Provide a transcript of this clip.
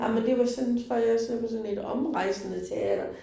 Ej men det var sådan tror jeg sådan et omrejsende teater